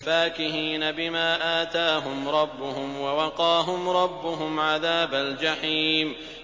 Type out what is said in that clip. فَاكِهِينَ بِمَا آتَاهُمْ رَبُّهُمْ وَوَقَاهُمْ رَبُّهُمْ عَذَابَ الْجَحِيمِ